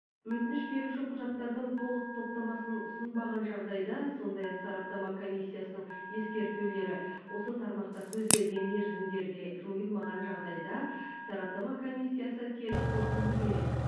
өтініш беруші құжаттардың толық топтамасын ұсынбаған жағдайда сондай ақ сараптама комиссиясының ескертулері осы тармақта көзделген мерзімдерде жойылмаған жағдайда сараптама комиссиясы теріс қорытынды береді